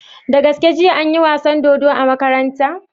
Da gaske jiya anyi wasan dodo a makaranta?